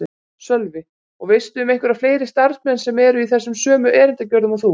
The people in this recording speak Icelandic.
Sölvi: Og veistu um einhverja fleiri starfsmenn sem eru í þessu sömu erindagjörðum og þú?